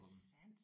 Er det sandt?